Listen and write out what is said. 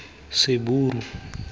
seburu